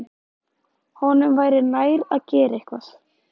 Honum væri nær að gera eitthvað.